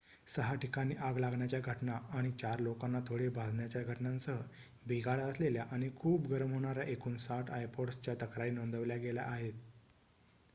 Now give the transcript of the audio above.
सहा ठिकाणी आग लागण्याच्या घटना आणि चार लोकांना थोडे भाजण्याच्या घटनांसह बिघाड असलेल्या आणि खूप गरम होणाऱ्या एकूण ६० ipods च्या तक्रारी नोंदवल्या गेल्या आहेत